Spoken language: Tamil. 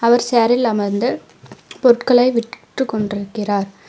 ஒரு சேரில் அமர்ந்து பொருட்களை விற்றுக் கொண்டிருக்கிறார்.